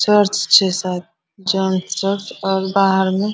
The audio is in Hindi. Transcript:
चर्च छै शायद च चर्च और बाहर मे --